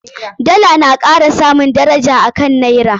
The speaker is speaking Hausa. Dala na kara samun daraja a kan Naira.